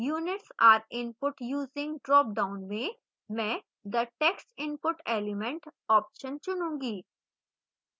units are input using dropdown में मैं the text input element option चुनूंगी